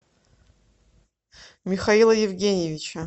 михаила евгеньевича